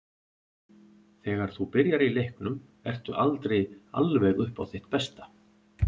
Þegar þú byrjar í leiknum ertu aldrei alveg upp á þitt besta.